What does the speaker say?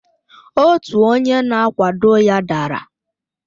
otu onye na-akwado ya dara